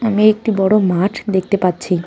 আমি একটি বড়ো মাঠ দেখতে পাচ্ছি।